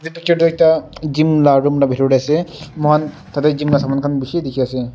itu noksa toh ekta gym la room la bitor teh ase muihan tate gym la saman bishi dikhi ase.